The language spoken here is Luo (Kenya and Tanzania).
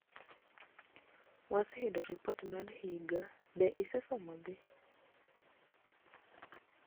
waseyudo ripot mar higa ,be isesomogi ?